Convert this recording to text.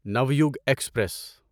Navyug express